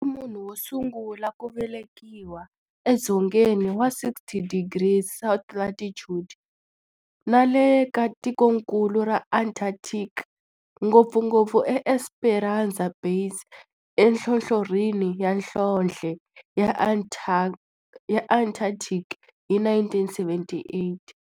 A ri munhu wo sungula ku velekiwa e dzongeni wa 60 degrees south latitude nale ka tikonkulu ra Antarctic, ngopfungopfu eEsperanza Base enhlohlorhini ya nhlonhle ya Antarctic hi 1978.